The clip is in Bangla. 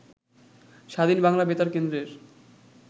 স্বাধীন বাংলা বেতার কেন্দ্রের